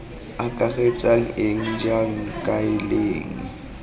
akaretsang eng jang kae leng